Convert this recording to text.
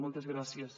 moltes gràcies